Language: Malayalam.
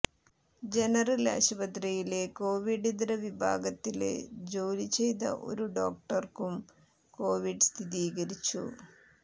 ജനറല് ആശുപത്രിയിലെ കോവിഡ് ഇതര വിഭാഗത്തില് ജോലി ചെയ്ത ഒരു ഡോക്ടര്ക്കും കോവിഡ് സ്ഥിരീകരിച്ചു